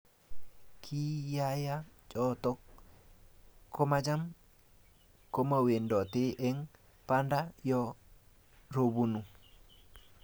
kiyayaa choto komacham komawendote eng banda yoo robanu